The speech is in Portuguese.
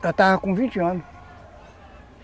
Ela estava com vinte anos.